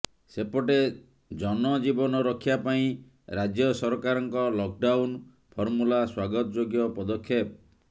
ସେପଟେ ଜନଜୀବନ ରକ୍ଷା ପାଇଁ ରାଜ୍ୟ ସରକାରଙ୍କ ଲକଡାଉନ ଫର୍ମୁଲା ସ୍ବାଗତ ଯୋଗ୍ୟ ପଦକ୍ଷେପ